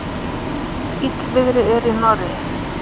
Illviðri er í Noregi.